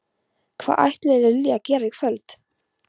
Hvað ætlar Lilja að gera í kvöld?